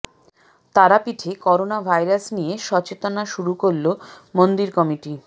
তারাপীঠে corona virus নিয়ে সচেতনা শুরু করল মন্দির কমিটি